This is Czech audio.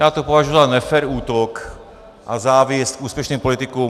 Já to považuji za nefér útok a závist úspěšným politikům.